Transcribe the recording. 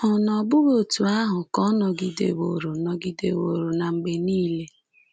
Ọ̀ na bụghị otú ahụ ka ọ nọgideworo nọgideworo na mgbe niile?